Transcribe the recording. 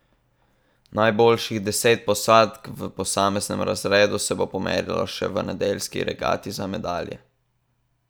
Najboljših deset posadk v posameznem razredu se bo pomerilo še v nedeljski regati za medalje.